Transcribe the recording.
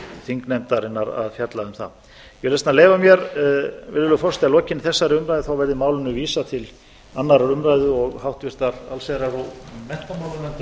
þingnefndarinnar að fjalla um það ég vil þess vegna leyfa mér virðulegur forseti að að lokinni þessari umræðu verði málinu vísað til annarrar umræðu og háttvirtrar allsherjar og menntamálanefndar hygg ég eða